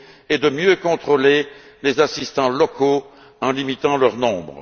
et de mieux contrôler les assistants locaux en limitant leur nombre.